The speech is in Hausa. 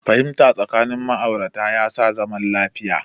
Fahimta tsakanin ma'aurata ya sa zaman lafiya